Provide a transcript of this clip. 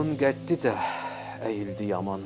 Atamın qəddi də əyildi yaman.